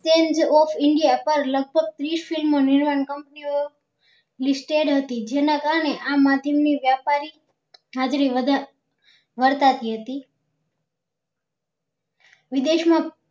of india પર લગભગ ત્રીસ film ઓ નિર્માણ company ઓ listed હતી જેના કારણે આ માધ્યમ ની વ્યાપારી હાજરી વધાર વર્તાતી હતી વિદેશ